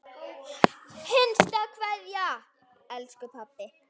HINSTA KVEÐJA Elsku pabbi.